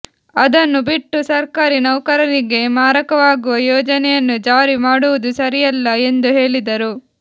ಅದನ್ನು ಬಿಟ್ಟು ಸರ್ಕಾರಿ ನೌಕರರಿಗೆ ಮಾರಕವಾಗುವ ಯೋಜನೆಯನ್ನು ಜಾರಿ ಮಾಡುವುದು ಸರಿಯಲ್ಲ ಎಂದು ಹೇಳಿದರು